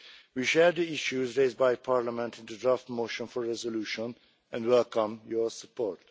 We share the issues raised by Parliament in the draft motion for resolution and welcome your support.